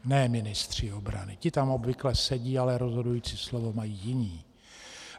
Ne ministři obrany, ti tam obvykle sedí, ale rozhodující slovo mají jiní.